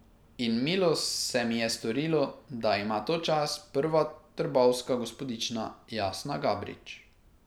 In milo se mi je storilo, da ima to čast prva trbovska gospodična Jasna Gabrič.